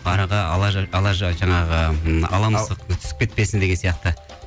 араға жаңағы м ала мысық түсіп кетпесін деген сияқты